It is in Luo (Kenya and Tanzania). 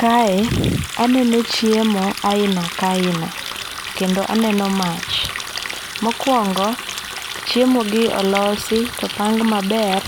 Kae aneno chiemo aina ka aina kendo aneno mach. Mokuongo chiemo gi olosi to opang maber